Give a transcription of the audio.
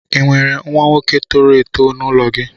Ị nwere nwa nwoke toro èto n'ụlọ gị